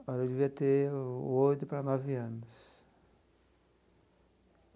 Olha, eu devia ter oito para nove anos.